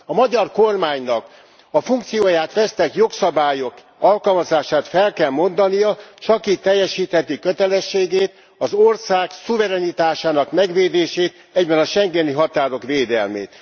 A magyar kormánynak a funkcióját vesztett jogszabályok alkalmazását fel kell mondania, csak így teljesítheti kötelességét, az ország szuverenitásának megvédését, egyben a schengeni határok védelmét.